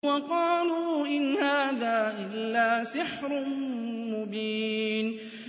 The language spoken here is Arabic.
وَقَالُوا إِنْ هَٰذَا إِلَّا سِحْرٌ مُّبِينٌ